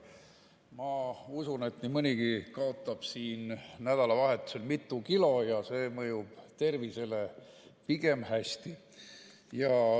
Ma usun, et nii mõnigi kaotab siin nädalavahetusel mitu kilo ja see mõjub tervisele pigem hästi.